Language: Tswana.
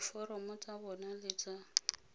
diforomo tsa bona le tsa